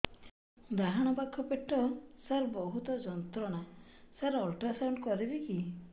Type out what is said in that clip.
ଡାହାଣ ପାଖ ପେଟ ସାର ବହୁତ ଯନ୍ତ୍ରଣା ସାର ଅଲଟ୍ରାସାଉଣ୍ଡ କରିବି କି